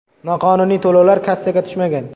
Noqonuniy to‘lovlar kassaga tushmagan.